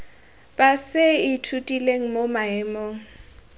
ba se ithutileng mo maemong